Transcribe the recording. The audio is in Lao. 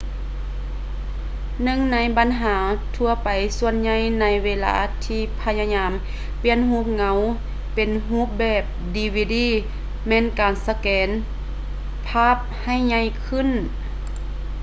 ຫນຶ່ງໃນບັນຫາທົ່ວໄປສ່ວນໃຫຍ່ໃນເວລາທີ່ພະຍາຍາມປ່ຽນຮູບເງົາເປັນຮູບແບບ dvd ແມ່ນການສະແກນພາບໃຫ້ໃຫຍ່ຂຶ້ນ